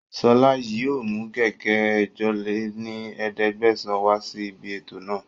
Sọla yìí ó mú gègé ẹ̀jọ lé ní ẹ̀ẹ́dẹ́gbẹ́sán wá sí ibi ètò náà